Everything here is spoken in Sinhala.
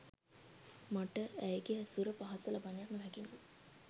මට ඇයගේ ඇසුර, පහස ලබන්නට නොහැකි නම්